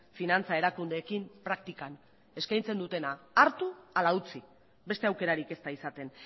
finantza erakundeekin praktikan eskaintzen dutena hartu ala utzi beste aukerarik ez da izaten